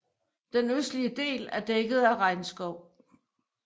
Den østlige del er dækket af regnskov